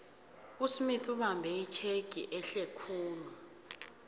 usmith ubambe itjhegi ehlekhulu